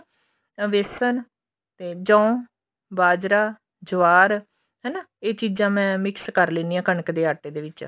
ਬੇਸਨ ਤੇ ਜੋੰ ਬਾਜਰਾ ਜਵਾਰ ਹਨਾ ਇਹ ਚੀਜ਼ਾਂ ਮੈਂ mix ਕਰ ਲੈਂਦੀ ਹਾਂ ਕਣਕ ਦੇ ਆਟੇ ਦੇ ਵਿੱਚ